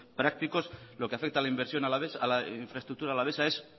prácticos lo que afecta a la inversión alavés a la infraestructura alavesa es